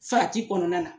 Farati kɔnɔna na